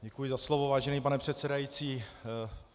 Děkuji za slovo, vážený pane předsedající.